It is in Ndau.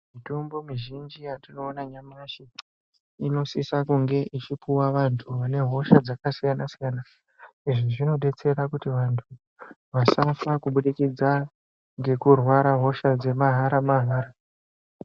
Mitombo muzhinji yatinoona nyamashi inosisa kunge ichipuva vantu vane hosha dzakasiyana-siyana. Izvi zvinobetsera kuti vantu vasafa kubudikidza ngekurwara hosha dzemahara-mahara.